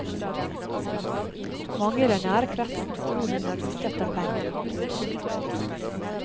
Mange i den nære kretsen tror at hun er ute etter pengene hans. punktum